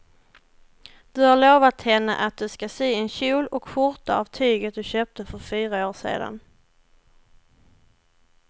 Du har lovat henne att du ska sy en kjol och skjorta av tyget du köpte för fyra år sedan.